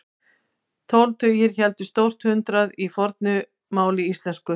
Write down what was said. Tólf tugir hétu stórt hundrað í fornu máli íslensku.